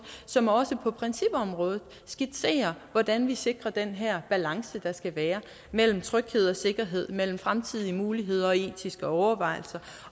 som også på principområdet skitserer hvordan vi sikrer den her balance der skal være mellem tryghed og sikkerhed mellem fremtidige muligheder og etiske overvejelser